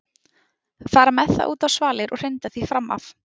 Fara með það út á svalir og hrinda því fram af.